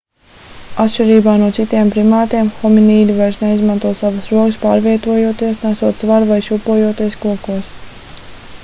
atšķirībā no citiem primātiem hominīdi vairs neizmanto savas rokas pārvietojoties nesot svaru vai šūpojoties kokos